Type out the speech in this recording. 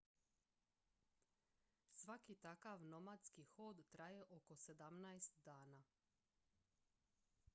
svaki takav nomadski hod traje oko 17 dana